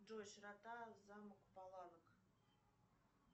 джой широта замок палавок